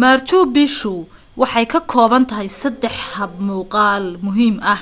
marchu picchu waxay ka koobantahay saddex habmuqaal muhiim ah